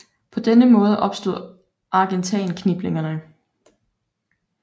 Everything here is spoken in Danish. På denne måde opstod Argentan kniplingerne